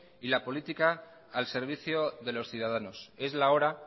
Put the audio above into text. y la política al servicio de los ciudadanos es la hora